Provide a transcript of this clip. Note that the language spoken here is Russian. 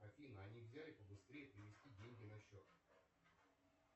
афина а нельзя ли побыстрее перевести деньги на счет